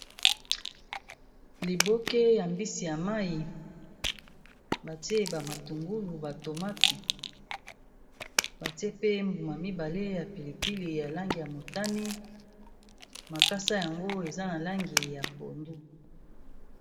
Liboke ya mbisi ya mayi batie ba matungulu, ba tomati, batie pe mbuma mibale ya pilipili, ya langi ya motani, makasa yango eza na langi ya pondu.